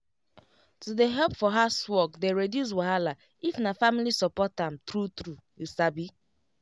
to dey help for housework dey reduce wahala if na family support am true true you sabi